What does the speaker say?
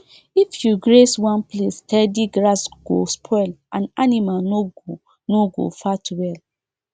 if you graze one place steady grass go spoil and animal no go no go fat well